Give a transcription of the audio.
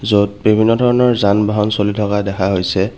য'ত বিভিন্ন ধৰণৰ যান বাহন চলি থকা দেখা হৈছে।